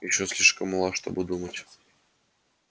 кэррин ещё слишком мала чтобы думать